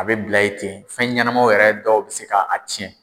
A bɛ bila yen ten, fɛn ɲɛnamaw yɛrɛ dɔw bɛ se k'a tiɲɛn.